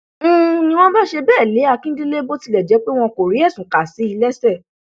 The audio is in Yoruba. n ní wọn bá ṣe bẹẹ lé akíndélé bó tilẹ jẹ wọn kò rí ẹsùn kà sí i lẹsẹ